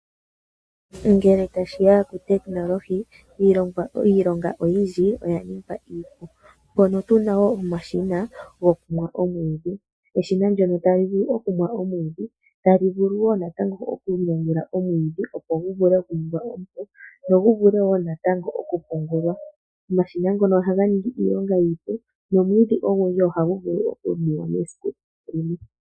Ngele tashiya kuutekinolohi iilonga oyindji oya ningwa iipu mpono tuna omashina gokumwa omwiidhi, eshina ohali mu omwiidhi nokugu ninga nawa gu vule oku pungulwa. Omashina ngono ohaga ningi iilonga iipu.